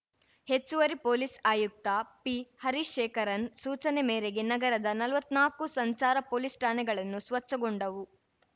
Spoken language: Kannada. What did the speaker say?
ಹೆಚ್ಚುವರಿ ಪೊಲೀಸ್‌ ಆಯುಕ್ತ ಪಿಹರಿಶೇಖರನ್‌ ಸೂಚನೆ ಮೇರೆಗೆ ನಗರದ ನಲವತ್ನಾಕು ಸಂಚಾರ ಪೊಲೀಸ್‌ ಠಾಣೆಗಳನ್ನು ಸ್ವಚ್ಛಗೊಂಡವು